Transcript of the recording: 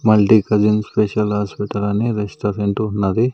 Multi cuisine special hospital అని restaurant ఉన్నది.